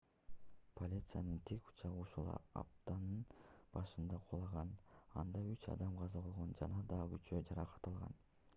полициянын тик учагы ушул аптанын башында кулаган анда үч адам каза болгон жана дагы үчөө жаракат алган